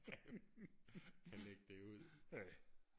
kan lægge det ud